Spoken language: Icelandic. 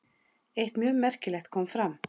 Eitt mjög merkilegt kom fram.